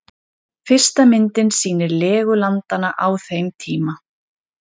Fyrsta myndin sýnir legu landanna á þeim tíma.